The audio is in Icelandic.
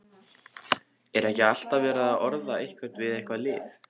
Er ekki alltaf verið að orða einhvern við eitthvað lið?